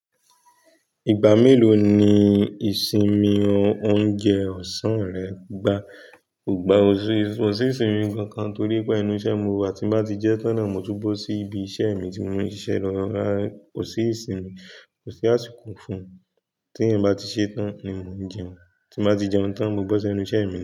Ìgbà mélòó ni ìsinmi oúnjẹ ọ̀sán rẹ gbà? Kò gba, kosí ìsinmi kankan torí pé enú isẹ́ mo wà tí n bá ti jẹ tán náà mo túbọ̀ sí ibi isẹ́ mi tí mo ń ṣiṣẹ́ lọ́ Kò sí ìsinmi, kò sí àsìkò fún un. Tí ǹ bá ti ṣe tán ni mo ń jẹun, tí mo bá ti jẹun tán mo bo se nú isẹ́ mi ni.